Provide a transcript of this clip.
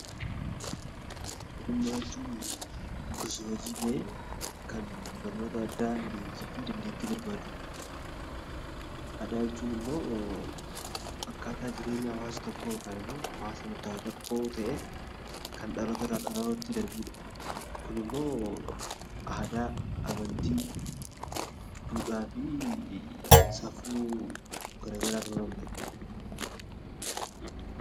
Ogummaa jechuun gosa hojii ta'ee, amaloota addaa leenjii barbaadanidha. Aadaa jechuun immoo akkaataa jireenya hawaasa tokkoo yookaan immoo hawaasa murtaa'e tokko ta'ee kan dhaloota irraa dhalootatti darbudha. Kun immoo aadaa, amantii, duudhaa fi safuu garaagaraa ta'uu danda'a.